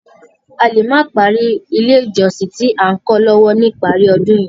A lè má parí ilé ìjọsìn tí à ń kó lọ lọ́wọ́ ní ìparí ọdún yìí.